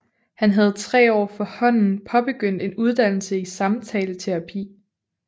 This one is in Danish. Han havde tre år forhånden påbegyndte en uddannelse i samtaleterapi